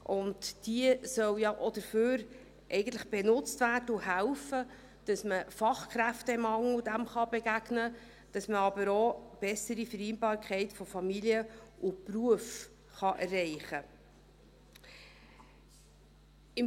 Und sie soll ja auch dafür benutzt werden und helfen, dass man dem Fachkräftemangel begegnen, aber auch eine bessere Vereinbarkeit von Familie und Beruf erreichen kann.